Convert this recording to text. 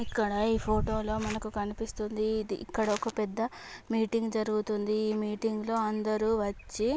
ఇక్కడ ఈ ఫోటో లో మనకి కనిపిస్తుంది ఇది ఇక్కడ ఒక పెద్ద మీటింగ్ జరుగుతుంది. ఈ మీటింగ్ లో అందరూ వచ్చి--